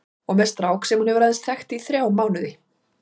Og með strák sem hún hefur aðeins þekkt í þrjá mánuði.